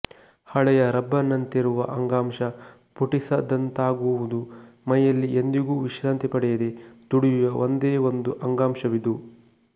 ಹಳೆಯ ರಬ್ಬರಿನಂತಿರುವ ಅಂಗಾಂಶ ಪುಟಿಸದಂತಾಗುವುದು ಮೈಯಲ್ಲಿ ಎಂದಿಗೂ ವಿಶ್ರಾಂತಿ ಪಡೆಯದೆ ದುಡಿವ ಒಂದೇ ಒಂದು ಅಂಗಾಂಶವಿದು